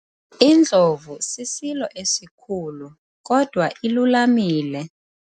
Indlovu sisilo esikhulu kodwa ilulamile.